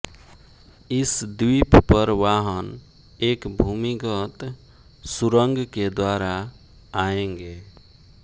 इस द्वीप पर वाहन एक भूमिगत सुरंग के द्वारा आएंगे